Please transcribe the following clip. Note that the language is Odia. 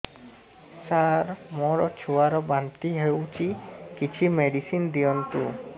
ସାର ମୋର ଛୁଆ ର ବାନ୍ତି ହଉଚି କିଛି ମେଡିସିନ ଦିଅନ୍ତୁ